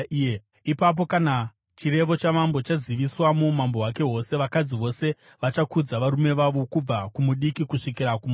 Ipapo kana chirevo chamambo chaziviswa muumambo hwake hwose, vakadzi vose vachakudza varume vavo, kubva kumudiki kusvikira kumukuru.”